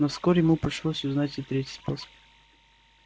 но вскоре ему пришлось узнать и третий способ